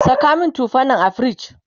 Saka min tufan nan a fridge!